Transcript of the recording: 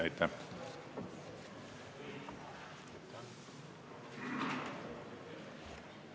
Aitäh!